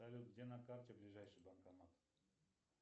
салют где на карте ближайший банкомат